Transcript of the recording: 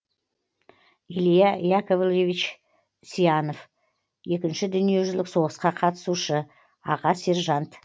илья яковлевич сьянов екінші дүниежүзілік соғысқа қатысушы аға сержант